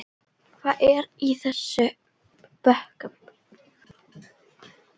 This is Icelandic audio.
Hvað er í þessum bökkum?